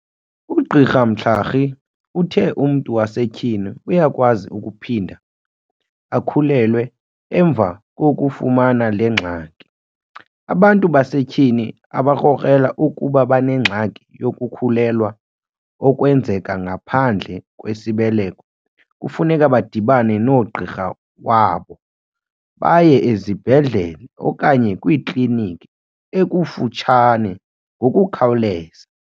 UGqr Mhlari uthe umntu wasetyhini uyakwazi ukuphinda akhulelwe emva kokufumana le gxaki. Abantu basetyhini abakrokrela ukuba banengxaki yokukhulelwa okwenzeka ngaphandle kwesibeleko kufuneka badibane nogqirha wabo, baye esibhedlele okanye kwikliniki ekufutshane ngokukhawuleza.